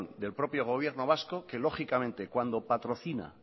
del propio gobierno vasco que lógicamente cuando patrocina